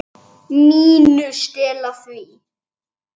MÍNU. Stela því?